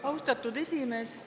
Austatud esimees!